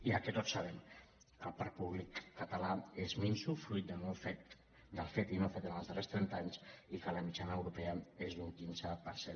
i el que tots sabem que el parc públic català és minso fruit del fet i no fet en els darrers trenta anys i que la mitjana europea és d’un quinze per cent